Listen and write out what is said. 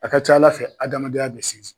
A ka ca ala fɛ a adamadenya bɛ sinsin.